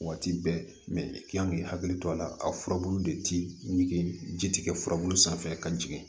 Waati bɛɛ mɛ i kan k'i hakili to a la a furabulu de ti ɲigi ji ti kɛ furabulu sanfɛ ka jigin